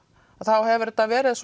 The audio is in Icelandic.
þá hefur þetta verið